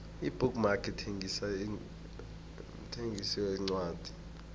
ibook mark mthengisi wencwadi